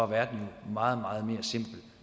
være meget meget mere simpel